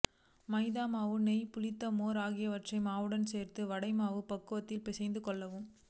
மைதா மாவு நெய் புளித்த மோர் ஆகியவற்றை மாவுடன் சேர்த்து வடை மாவு பக்குவத்திற்கு பிசைந்து கொள்ளவும்